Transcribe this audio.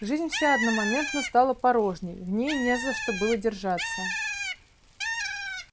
жизнь вся одномоментно стала порожней в ней не за что было держаться